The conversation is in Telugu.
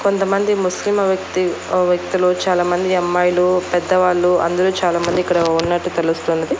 కొంతమంది ముస్లిం వ్యక్తి వ్యక్తులు చాలామంది అమ్మాయిలు పెద్దవాళ్లు అందరూ చాలామంది ఇక్కడ ఉన్నట్టు తెలుస్తున్నది.